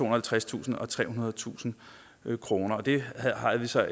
og halvtredstusind og trehundredetusind kroner det har vi så